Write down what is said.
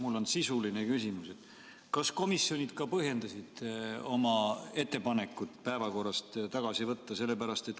Mul on sisuline küsimus: kas komisjonid ka põhjendasid oma ettepanekut need punktid päevakorrast tagasi võtta?